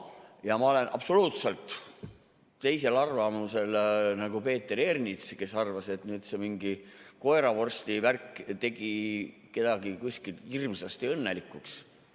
Ja ma olen absoluutselt teisel arvamusel kui Peeter Ernits, kes arvas, et mingi koeravorstivärk tegi kedagi kuskil hirmsasti õnnelikuks.